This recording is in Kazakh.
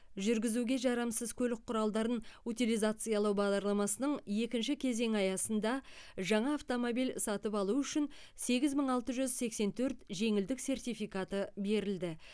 жүргізуге жарамсыз көлік құралдарын утилизациялау бағдарламасының екінші кезеңі аясында жаңа автомобиль сатып алу үшін сегіз мың алты жүз сексен төрт жеңілдік сертификаты берілді